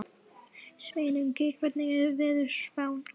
Sveinungi, hvernig er veðurspáin?